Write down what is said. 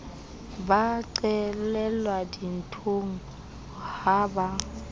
ba qelelwa dinthong ha ba